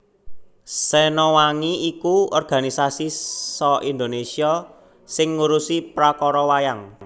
Sena Wangi iku organisasi sa Indonesia sing ngurusi prakara wayang